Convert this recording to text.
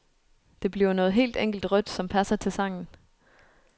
Det bliver noget helt enkelt rødt, som passer til sangen.